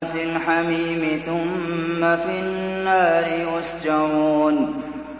فِي الْحَمِيمِ ثُمَّ فِي النَّارِ يُسْجَرُونَ